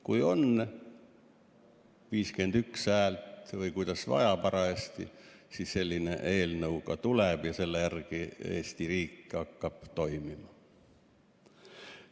Kui on 51 häält või kuidas parajasti vaja, siis selline eelnõu ka tuleb ja selle järgi hakkab Eesti riik toimima.